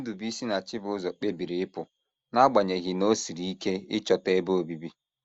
Ndubuisi na Chibuzor kpebiri ịpụ, n’agbanyeghị na o siri ike ịchọta ebe obibi.